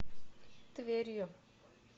тверью